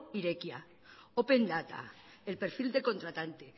irekia open data el perfil del contratante